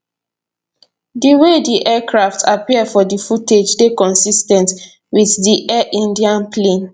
di way di aircraft appear for di footage dey consis ten t wit di air india plane